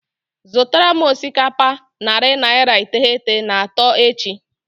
Zụtara m osikapa narị naira iteghete na atọ echi.